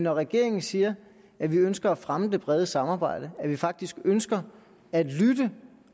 regeringen siger at vi ønsker at fremme det brede samarbejde at vi faktisk ønsker at lytte